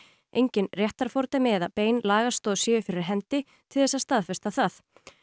engin réttarfordæmi eða bein lagastoð séu fyrir hendi til þess að staðfesta það